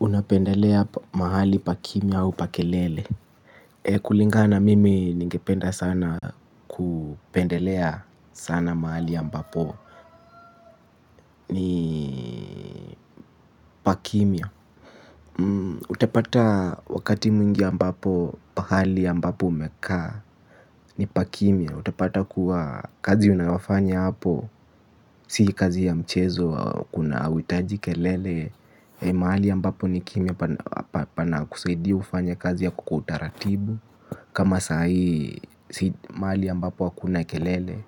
Unapendelea mahali pa kimia au pa kelele? Kulingana na mimi ningependa sana kupendelea sana mahali ya mbapo ni pa kimia. Utapata wakati mwingi ambapo, pahali ambapo umekaa ni pa kimia, utapata kuwa kazi unayofanya hapo. Si kazi ya mchezo kuna hauhitaji kelele. Mahali ambapo ni kimia pana kusaidia ufanye kazi yako kwa utaratibu. Kama sahii mahali ambapo hakuna kelele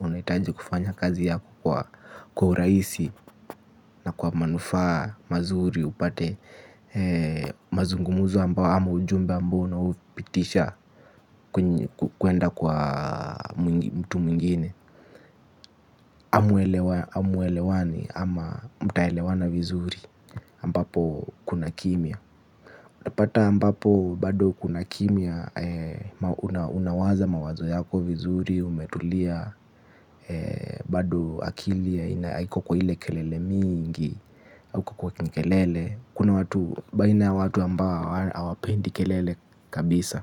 unahitaji kufanya kazi yako kwa urahisi na kwa manufaa mazuri upate mazungumzo ambayo, ama ujumbe ambao unao upitisha kwenda kwa mtu mwingine hamuelewani ama mtaelewana vizuri ambapo kuna kimia. Unapata ambapo bado kuna kimia unawaza mawazo yako vizuri umetulia. Bado akili haina haiko kwa ile kelele mingi au kuko kwa kelelem. Kuna watu baina watu ambao hawapendi kelele kabisa.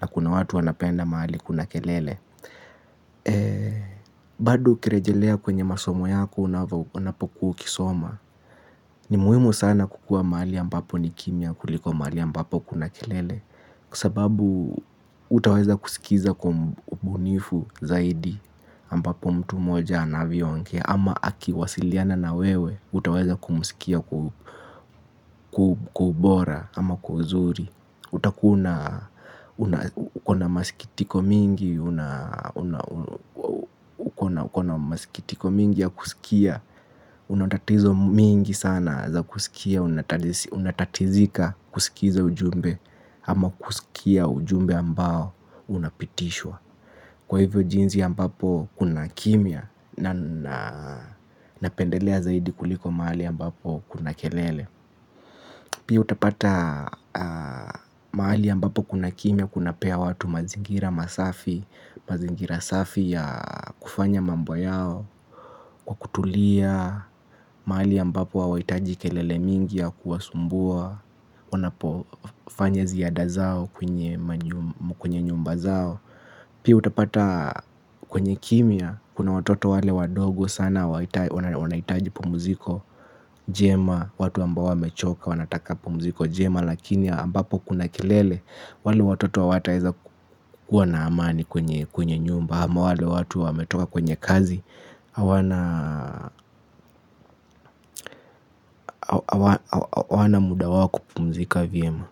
Na kuna watu wanapenda mahali kuna kelele. Bado ukirejelea kwenye masomo yako unapokua ukisoma. Ni muhimu sana kukua mahali ambapo ni kimia kuliko mahali ambapo kuna kelele. Kwa sababu hutaweza kusikiza kwa ubunifu zaidi ambapo mtu moja anavyo ongea, ama akiwasiliana na wewe hutaweza kumsikia kwa ubora ama kwa uzuri, utakua ukona masikitiko mingi. Ukona masikitiko mingi ya kusikia. Una tatizo mingi sana za kusikia, unatatizika kusikiza ujumbe. Ama kusikia ujumbe ambao unapitishwa. Kwa hivyo jinsi ambapo kuna kimia napendelea zaidi kuliko mahali ambapo kuna kelele. Pia utapata mahali ambapo kuna kimia kunapea watu mazingira masafi. Mazingira safi ya kufanya mambo yao. Kwa kutulia mahali ambapo hawahitaji kelele mingi ya kuwasumbua wanapofanya ziada zao kwenye kwenye nyumba zao. Pii utapata kwenye kimia kuna watoto wale wadogo sana wanahitaji pumuziko njema, watu ambao wamechoka wanataka pumuziko njema. Lakini ambapo kuna kelele wale watoto hawataweza kuwa na amani kwenye nyumba ama wale watu wametoka kwenye kazi hawana muda wao wa kupumzika vyema.